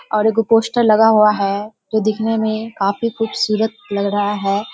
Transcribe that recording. और एगो पोस्टर लगा हुआ है जो दिखने में काफी खूबसूरत लग रहा है।